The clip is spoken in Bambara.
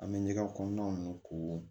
An bɛ ɲɛgɛn kɔnɔna ninnu ko